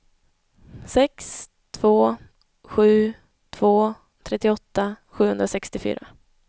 sex två sju två trettioåtta sjuhundrasextiofyra